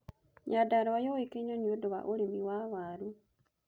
Nyandarũa yũũĩkaine nĩũndũ wa urĩmi wa waaru